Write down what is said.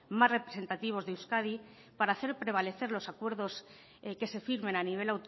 más representativos de euskadi para hacer prevalecer los acuerdos que se firmen a nivel